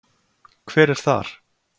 Hver er þar?